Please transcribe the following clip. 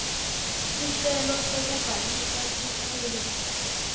sicelo sekubhalisa sikhungo